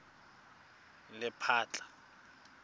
lephatla